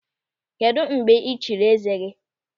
Kedụ mgbe ị chiri eze gị?